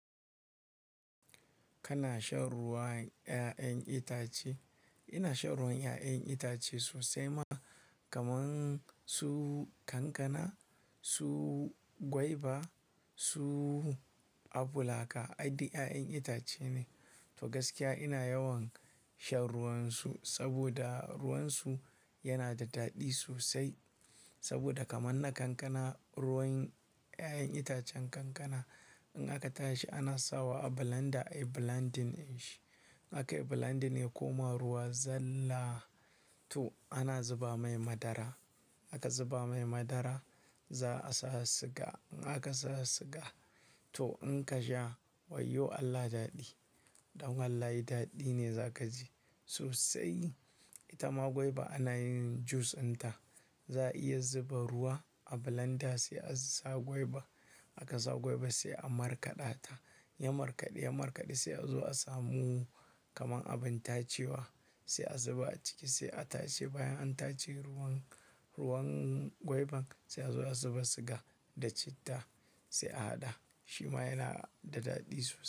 Kana shan ruwan ƴaƴen itace? Ina shan ruwan ƴaƴen itace sosai ma. Kaman su kankana, su gwaiba, su aful haka, ai duk yaƴan itace ne. To gaskiya ina yawan shan ruwansu saboda ruwansu yana da daɗi sosai. Saboda kaman na kankana, ruwan ƴaƴan itacen kankana in aka tashi ana sawa a blender ayi blending dinshi. A kai blending ya koma ruwa zalla. To ana zuba mai madara. A ka zuba mai madara za a sa siga. In aka sa siga to in ka sha, wayyo Allah daɗi. Dan wallahi daɗi ne za ka ji sosai. Ita ma gwaiba ana yin jus dinta. Za a iya zuba ruwa a blender sai a sa gwaiba. A ka sa gwaiba sai a markaɗa ta. Ya markaɗu, ya markaɗu sai a zo a samu kaman abin tacewa sai a zuba a ciki sai a tace. Bayan an tace ruwan, ruwan gwaiban sai a zo a zuba siga da citta sai a haɗa. Shi ma yana da daɗi sosai.